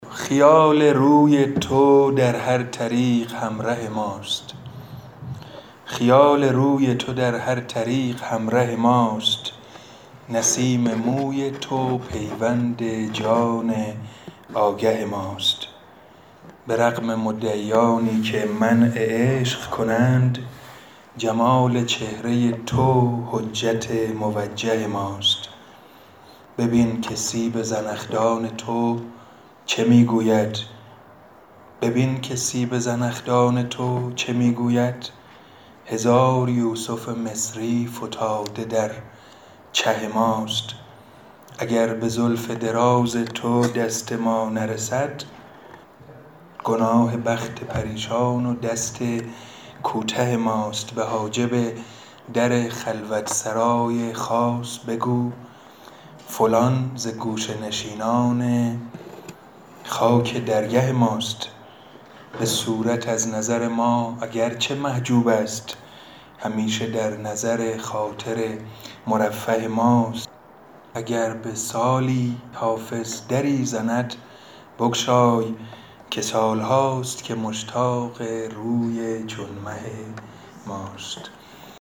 خیال روی تو در هر طریق همره ماست نسیم موی تو پیوند جان آگه ماست به رغم مدعیانی که منع عشق کنند جمال چهره تو حجت موجه ماست ببین که سیب زنخدان تو چه می گوید هزار یوسف مصری فتاده در چه ماست اگر به زلف دراز تو دست ما نرسد گناه بخت پریشان و دست کوته ماست به حاجب در خلوت سرای خاص بگو فلان ز گوشه نشینان خاک درگه ماست به صورت از نظر ما اگر چه محجوب است همیشه در نظر خاطر مرفه ماست اگر به سالی حافظ دری زند بگشای که سال هاست که مشتاق روی چون مه ماست